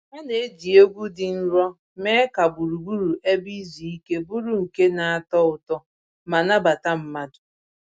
Ha na-eji egwu dị nro mee ka gburugburu ebe izu ike bụrụ nke na-atọ ụtọ ma nabata mmadụ